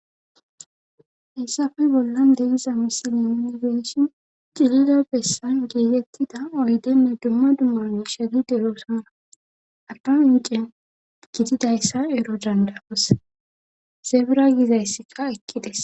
Haysape bollan de'iza misileni geeshin cilida bessan geegettida oydenne dumma dumamu shedi derosana abdan incen gididayssa ero dandaos sebra gizayssiqa eqiddes